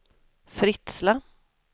Fritsla